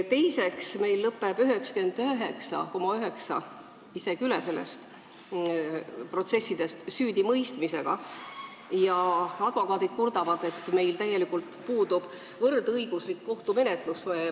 Teiseks, meil lõpeb 99,9% protsessidest, isegi üle selle süüdimõistmisega ja advokaadid kurdavad, et meil tegelikult puudub võrdõiguslik kohtumenetlus.